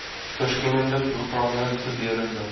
verskillende programme gedurende